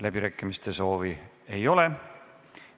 Läbirääkimiste soovi ei ole.